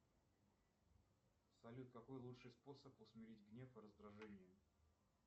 салют какой лучший способ усмирить гнев и раздражение